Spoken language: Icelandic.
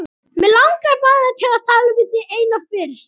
Mig langar bara til að tala við þig eina fyrst.